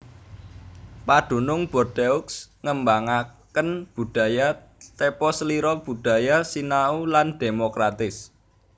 Padunung Bordeaux ngembangaken budaya tepaselira budaya sinau lan dhémokratis